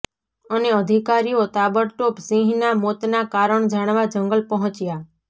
અને અધિકારીઓ તાબડતોબ સિંહના મોતના કારણ જાણવા જંગલ પહોંચ્યા